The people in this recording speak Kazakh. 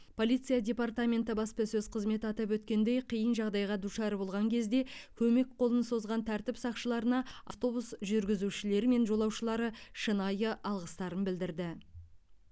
полиция департаменті баспасөз қызметі атап өткендей қиын жағдайға душар болған кезде көмек қолын созған тәртіп сақшыларына автобус жүргізушілері мен жолаушылары шынайы алғыстарын білдірді